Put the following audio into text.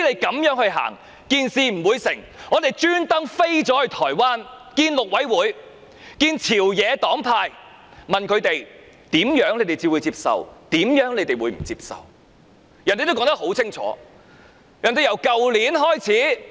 因此，我們特意飛到台灣與陸委會和朝野黨派會面，問他們甚麼方案才會接受，甚麼方案不接受，他們說得很清楚。